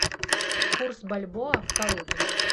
курс бальбоа в калуге